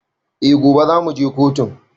Eh, gobe za mu je kotun